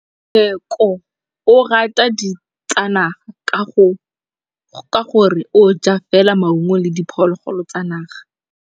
Tshekô o rata ditsanaga ka gore o ja fela maungo le diphologolo tsa naga.